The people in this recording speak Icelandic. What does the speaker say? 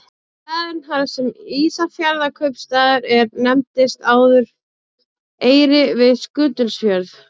Staðurinn þar sem Ísafjarðarkaupstaður er nefndist áður Eyri við Skutulsfjörð.